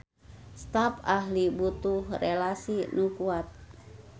Stap ahli butuh relasi nu kuat